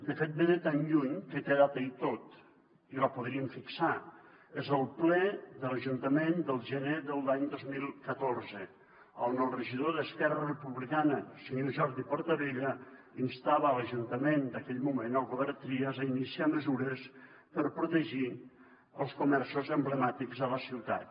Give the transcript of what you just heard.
de fet ve de tan lluny que té data i tot i la podríem fixar és el ple de l’ajuntament del gener de l’any dos mil catorze on el regidor d’esquerra republicana el senyor jordi portabella instava l’ajuntament d’aquell moment el govern trias a iniciar mesures per protegir els comerços emblemàtics a la ciutat